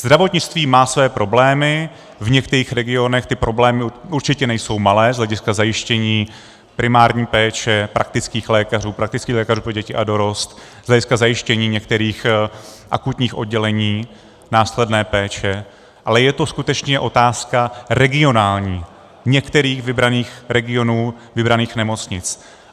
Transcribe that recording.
Zdravotnictví má své problémy, v některých regionech ty problémy určitě nejsou malé z hlediska zajištění primární péče praktických lékařů, praktických lékařů pro děti a dorost, z hlediska zajištění některých akutních oddělení následné péče, ale je to skutečně otázka regionální, některých vybraných regionů, vybraných nemocnic.